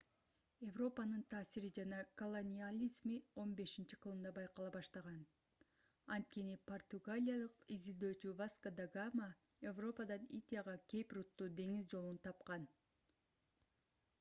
европанын таасири жана колониализми 15-кылымда байкала башталган анткени португалиялык изилдөөчү васко да гама европадан индияга кейп рутту деңиз жолун тапкан